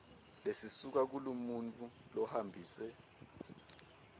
lesisuka kulomuntfu lohambise